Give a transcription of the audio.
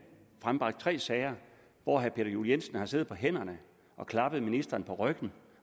frembragt tre sager hvor herre peter juel jensen har siddet på hænderne og klappet ministeren på ryggen